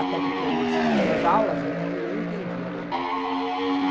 Até porque eu não assistia às aulas, então nem entendia nada daquilo.